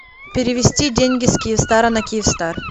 перевести деньги с киевстара на киевстар